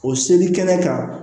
O seli kɛnɛ kan